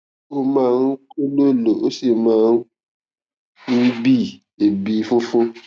ó máa ń kólòlò ó sì máa ń bi ebi funfun